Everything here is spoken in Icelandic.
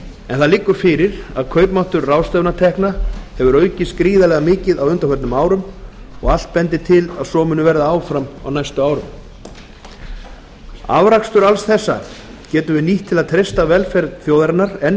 en það liggur fyrir að kaupmáttur ráðstöfunartekna hefur aukist gríðarlega mikið á undanförnum árum og allt bendir til að svo muni verða áfram næstu árin afrakstur alls þessa getum við nýtt til að treysta velferð þjóðarinnar enn